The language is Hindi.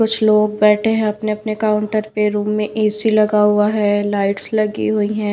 कुछ लोग बैठे हैं अपने-अपने काउंटर पे रूम में एसी लगा हुआ है लाइट्स लगी हुई है।